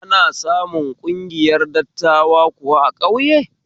Ana samun ƙungiyar dattawa kuwa a ƙauye?